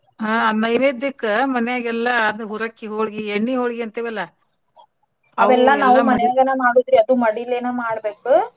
ಹಾ ನೈವೇದ್ಯಕ್ಕ ಮಾನ್ಯಾಗೆಲ್ಲಾ ಹುರಕ್ಕಿ ಹೊಳ್ಗಿ ಎಣ್ಣಿ ಹೊಳ್ಗಿ ಅಂತೀವಲ್ಲ. ಮನ್ಯಗನ ಮಾಡೋದ್ರಿ ಅದು ಮಡಿಲೇನ ಮಾಡ್ಬೇಕು.